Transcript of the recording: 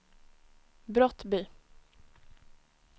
Brottby